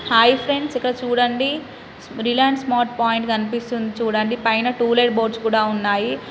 Hi friends ఇక్కడ చూడండి Reliance Smart Point గనిపిస్తుంది చుడండి పైన టూలెట్ బోర్డ్స్ కూడా ఉన్నాయి.